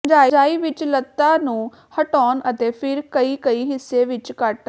fungi ਵਿਚ ਲਤ੍ਤਾ ਨੂੰ ਹਟਾਉਣ ਅਤੇ ਫਿਰ ਕਈ ਕਈ ਹਿੱਸੇ ਵਿੱਚ ਕੱਟ